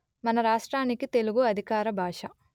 మన రాష్ట్రానికి తెలుగు అధికార భాష